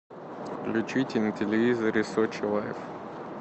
включите на телевизоре сочи лайф